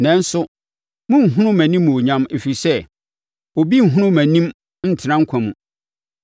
Nanso, morenhunu mʼanimuonyam, ɛfiri sɛ, obi bi renhunu mʼanim ntena nkwa mu.